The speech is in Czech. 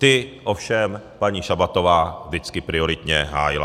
Ty ovšem paní Šabatová vždycky prioritně hájila.